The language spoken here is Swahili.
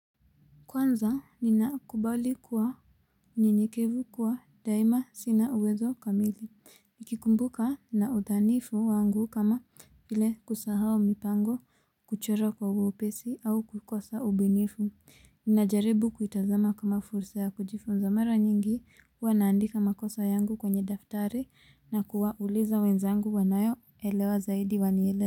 Kwanza ninakumbali kuwa mnyenyekevu, kuwa daima sina uwezo kamili Nikikumbuka na udhanifu wangu kama ile kusahau mipango, kuchora kwa wepesi au kukosa ubinifu Ninajaribu kuitazama kama fursa ya kujifunza mara nyingi wanaandika makosa yangu kwenye daftari na kuwauliza wezangu wanayoelewa zaidi waniele.